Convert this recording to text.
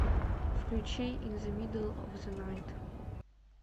включи ин зе мидл оф зе найт